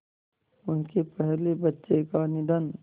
उनके पहले बच्चे का निधन